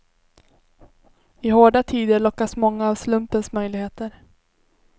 I hårda tider lockas många av slumpens möjligheter.